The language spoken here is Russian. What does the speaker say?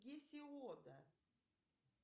гесиода